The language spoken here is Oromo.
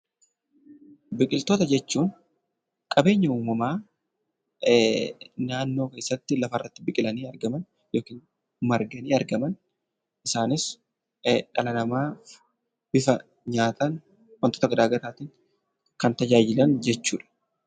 Biqiloota jechuun qabeenya uummamaa naannoo keessatti yookiin lafa irratti biqilanii argaman isaaniis dhala namaa nyaataa fi wantoota garagaraan kan gargaaran jechuudha.